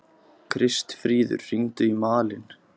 Kristfríður, hringdu í Malin.